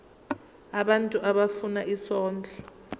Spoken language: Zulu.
abantu abafuna isondlo